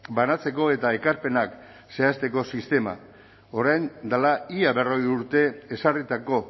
banatzeko eta ekarpenak zehazteko sistema orain dela ia berrogei urte ezarritako